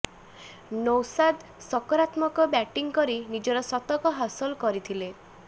ନୌଶାଦ୍ ସକାରାତ୍ମକ ବ୍ୟାଟିଂ କରି ନିଜର ଶତକ ହାସଲ କରିଥିଲେ